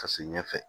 Ka se ɲɛfɛ